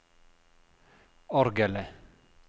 orgelet